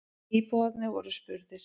Íbúarnir voru spurðir.